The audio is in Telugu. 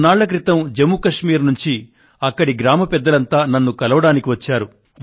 కొన్నాళ్ల క్రితం జమ్ము కశ్మీర్ నుండి అక్కడి గ్రామ పెద్దలంతా నన్ను కలవడానికి వచ్చారు